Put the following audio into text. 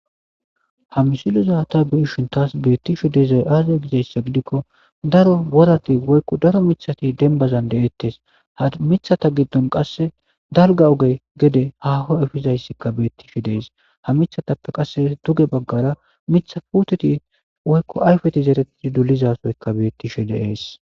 ha misilo zaata biishin taas beettishe deezay aazaa gizayssa gidikko daro worati woykko daro michati denbazan de7ettes ha mithata giddon qasse dalga ogey gede haho efizayssikka beettishe dees ha michatappe qasse duge baggara mitha puteti woykko ayfeti zeretidi dulizasoyka beettishe deees